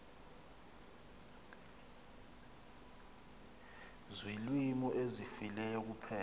ziilwimi ezifileyo kuphela